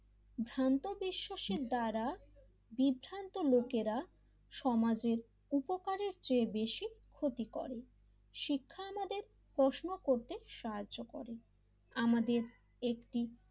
ভ্রান্ত বিশ্বাসের দ্বারা বিভ্রান্ত লোকেরা সমাজে উপকারের চেয়ে বেশি ক্ষতি করে শিক্ষা আমাদের প্রশ্ন করতে সাহায্য করে আমাদের একটি,